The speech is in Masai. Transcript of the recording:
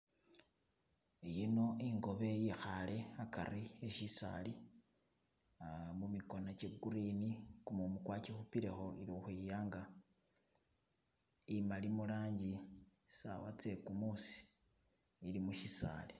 Yino ingobe yikhale hagari mushisali mumigona gye green gumumu gwagikupilekho ili ukhwiyanga imali mulangi sawa zegumusi ili mushisali.